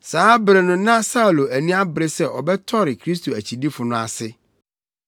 Saa bere no na Saulo ani abere sɛ ɔbɛtɔre Kristo akyidifo no ase.